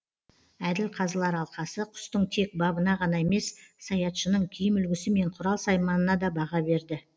әділ қазылар алқасы құстың тек бабына ғана емес саятшының киім үлгісі мен құрал сайманына да баға берді